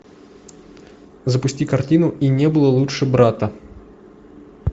запусти картину и не было лучше брата